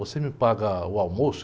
Você me paga o almoço?